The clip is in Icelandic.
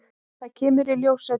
Það kemur í ljós seinna.